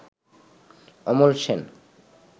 Amal Sen